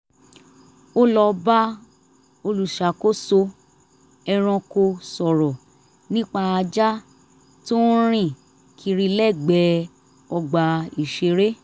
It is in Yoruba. ó lọ bá olùṣàkóso ẹranko sọrọ nípa ajá tó ń rìn kiri lẹ́gbẹ̀ẹ́ ọgbà ìṣeré